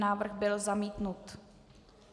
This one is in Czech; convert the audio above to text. Návrh byl zamítnut.